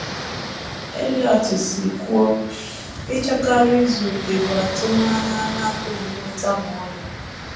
Eliot si kwuo, “ ịchọkarị izu okè bụ atụmanya a na - apụghị inweta ma ọlị. ”